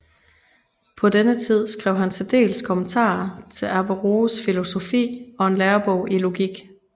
På denne tid skrev han dels kommentarer til Averroës filosofi og en lærebog i logik